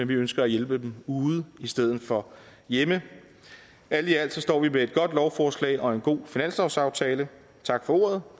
vi ønsker at hjælpe dem ude i stedet for hjemme alt i alt står vi med et godt lovforslag og en god finanslovsaftale tak for ordet